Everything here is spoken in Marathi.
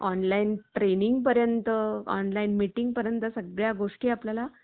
online training पर्यंत online meeting पर्यंत सगळ्या गोष्टी आपल्याला